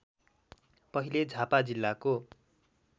पहिले झापा जिल्लाको